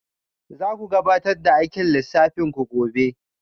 Za ku gabatar da aikin lissafin ku gobe?